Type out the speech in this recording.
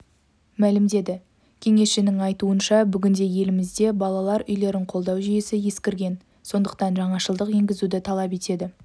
мәлімдеді кеңесшінің айтуынша бүгінде елімізде балалар үйлерін қолдау жүйесі ескірген сондықтан жаңашылдық енгізуді талап етеді